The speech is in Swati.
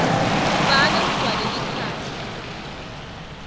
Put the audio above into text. ubhale kugcwale likhasi